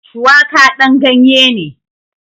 Shuwaƙa ɗan ganye ne